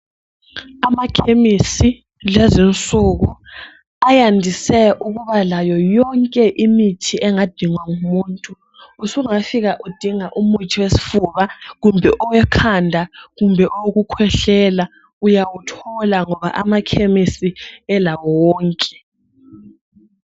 Amakhemisi lezinsuku ayandise ukuba layo yonke imithi engadhingwa ngumuntu. Usungafika udinga umuthi wesifuba kumbe owekhanda kumbe owokukwehlela, uyawuthola ngoba amakhemisi elawo wonke.